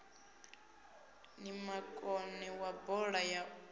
ni makone wa bola ya